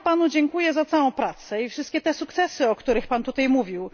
Dziękuję Panu za całą pracę i wszystkie te sukcesy, o których Pan tutaj mówił.